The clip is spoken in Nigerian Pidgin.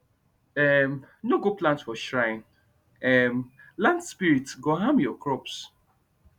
um no go plant for shrine um land spirits go harm your crops